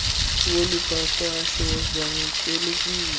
wolu papasho zamkelekile